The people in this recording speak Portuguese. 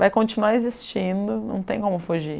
Vai continuar existindo, não tem como fugir.